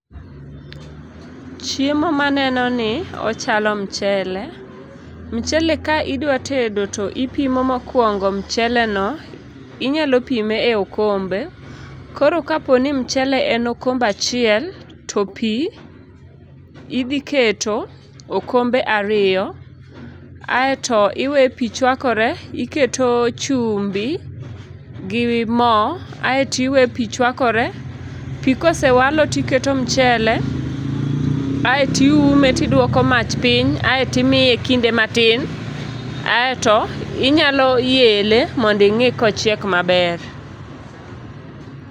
Chiemo ma aneno ni ochalo mchele. Mchele ka idwa tedo to ipimo mokuongo mcheleno. inyalo pime e okombe. Koro kapo ni mchele en okombe achiel, to pi, idhi keto okombe ariyo. aeto iwe pi chwakore, iketo chumbi gi mo, aeto iwe pi chwakore. Pi kosewalo to iketo mchele, aeto iume tidwoko mach piny, aeto imiye kinde matin, aeto inyalo yele mondo ing'i kochiek maber.